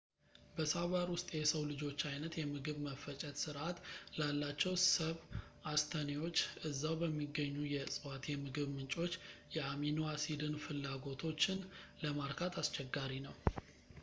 በሣቫና ውስጥ ፣ የሰው ልጆች ዓይነት የምግብ መፈጨት ሥርዓት ላላቸው ሰብአስተኔዎች እዛው በሚገኙ የእጽዋት የምግብ ምንጮች የአሚኖ አሲድን ፍላጎቶችን ለማርካት አስቸጋሪ ነው